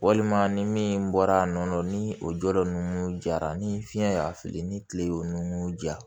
Walima ni min bɔra a nɔ la ni o jɔyɔrɔ ninnu jara ni fiɲɛ y'a fili ni kile y'o nun ja